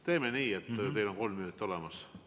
Teeme nii, teil on kolm minutit olemas.